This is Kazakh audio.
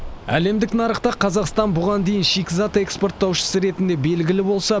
әлемдік нарықта қазақстан бұған дейін шикізат экспорттаушысы ретінде белгілі болса